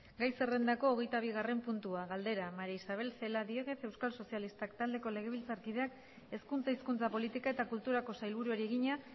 gai zerrendako hogeita bigarren puntua galdera maría isabel celaá diéguez euskal sozialistak taldeko legebiltzarkideak hezkuntza hizkuntza politika eta kulturako sailburuari egina